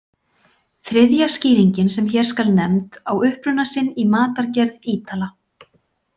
Þriðja skýringin sem hér skal nefnd á uppruna sinn í matargerð Ítala.